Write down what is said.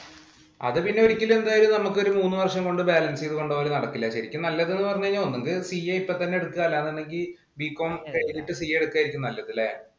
അത് ശരിക്കും എന്തായാലും ഒരു മൂന്നു വര്‍ഷം കൊണ്ട് balance ചെയ്ത് പോകല് നടക്കില്ല. ശരിക്കും നല്ലതെന്ന് പറഞ്ഞാല്‍ ഒന്നുകില്‍ CA ഇപ്പം തന്നെ എടുക്കുക. അതല്ലാങ്കില്‍ Bcom with CA എടുക്കുകയായിരിക്കും നല്ലത് അല്ലേ?